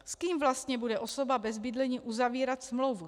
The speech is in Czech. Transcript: S kým vlastně bude osoba bez bydlení uzavírat smlouvu?